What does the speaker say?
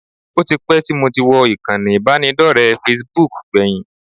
Ó ti pẹ́ tí mo ti wọ ìkànnì ìbánidọ́rẹ̀ẹ́ Facebook gbẹ̀yìn